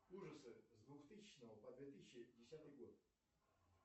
ужасы с двухтысячного по две тысячи десятый год